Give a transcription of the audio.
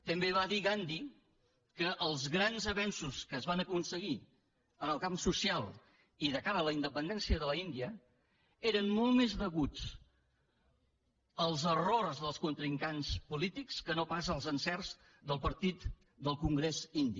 també va dir gandhi que els grans avenços que es van aconseguir en el camp social i de cara a la independència de l’índia eren molt més deguts als errors dels contrincants polítics que no pas als encerts del partit del congrés indi